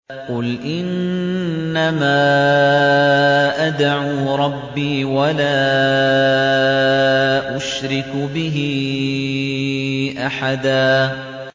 قُلْ إِنَّمَا أَدْعُو رَبِّي وَلَا أُشْرِكُ بِهِ أَحَدًا